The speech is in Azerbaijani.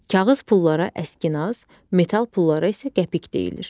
Kağız pullara əskinas, metal pullara isə qəpik deyilir.